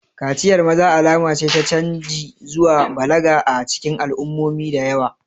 Kaciyar maza alama ce ta canji zuwa balaga a cikin al'ummomi da yawa.